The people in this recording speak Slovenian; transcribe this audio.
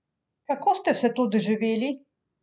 Kako ste vse to doživeli?